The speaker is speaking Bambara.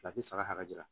saga jira